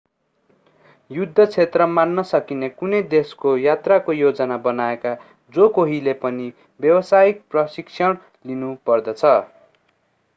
युद्ध क्षेत्र मान्न सकिने कुनै देशको यात्राको योजना बनाएका जो कोहीले पनि व्यवसायिक प्रशिक्षण लिनुपर्दछ